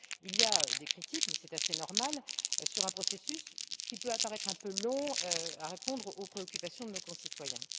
Bref, il y a des critiques, mais c'est assez normal, sur un processus qui peut apparaître un peu long à répondre aux préoccupations de nos concitoyens.